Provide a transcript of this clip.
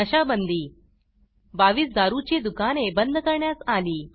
नशा बंदी 22 दारूची दुकाने बंद करण्यात आली